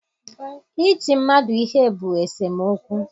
Iti mmadụ ihe bụ esemokwu.